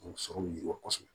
O sɔrɔ man kɔsɛbɛ